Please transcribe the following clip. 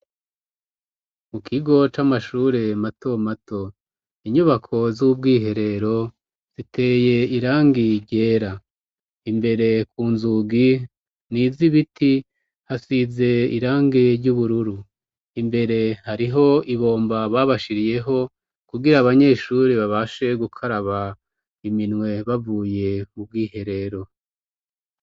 Mu kigo c'amashure mato mato, inyubako z'ubwiherero ziteye irangi ryera. imbere ku nzugi n'izibiti hasize irangi ry'ubururu, imbere hariho ibomba babashiriyeho kugira abanyeshure babashe gukaraba iminwe bavuye mubwiherero.